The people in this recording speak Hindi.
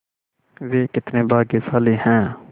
वे कितने भाग्यशाली हैं